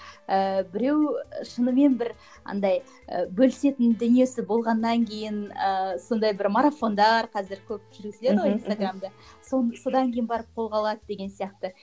ыыы біреу шынымен бір андай ы бөлісетін дүниесі болғаннан кейін ыыы сондай бір марафондар қазір көп жүргізеді ғой инстаграмда соны содан кейін барып қолға алады деген сияқты